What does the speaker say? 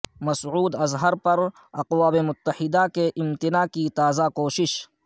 مسعود اظہر پر اقوام متحدہ کے امتناع کی تازہ کوشش